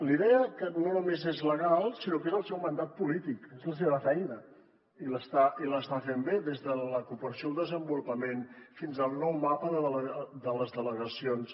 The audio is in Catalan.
li deia que no només és legal sinó que és el seu mandat polític és la seva feina i l’està fent bé des de la cooperació al desenvolupament fins al nou mapa de les delegacions